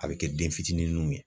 A bi kɛ den fitininw ye